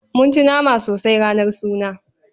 Mun ci nama sosai ranar suna.